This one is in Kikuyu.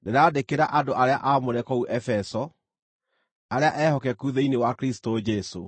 Ndĩrandĩkĩra andũ arĩa aamũre kũu Efeso, arĩa ehokeku thĩinĩ wa Kristũ Jesũ: